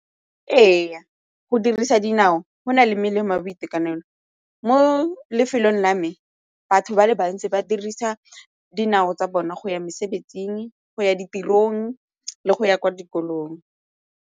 Ee, go dirisa dinao go na le melemo ya boitekanelo. Mo lefelong la me batho ba le bantsi ba dirisa dinao tsa bona go ya ditirong le go ya kwa dikolong.